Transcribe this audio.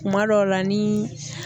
Kuma dɔw la ni